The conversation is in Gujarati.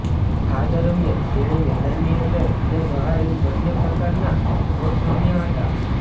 આ દરમિયાન તેણે મેદાનની અંદર અને બહાર એમ બન્ને પ્રકારના શોટ્સ રમ્યા હતાં